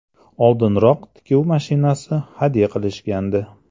Oldinroq tikuv mashinasi hadya qilishgandi.